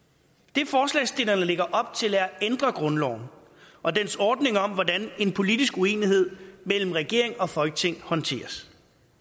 det forslagsstillerne lægger op til er at ændre grundloven og dens ordning om hvordan en politisk uenighed mellem regering og folketing håndteres